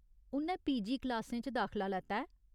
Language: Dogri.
उʼन्नै पीजी क्लासें च दाखला लैता ऐ।